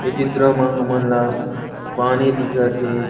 ये चित्र मा हमल ला पानी दिखत हे।